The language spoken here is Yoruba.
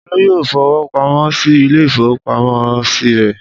Olú yóò fowó pamọ́ sí ilé-ìfowópamọ́sí rẹ̀!